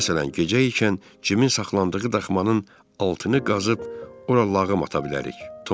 Məsələn, gecə ikən Cimin saxlandığı daxmanın altını qazıb ora lağım ata bilərik.